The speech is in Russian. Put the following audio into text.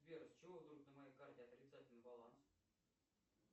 сбер с чего вдруг на моей карте отрицательный баланс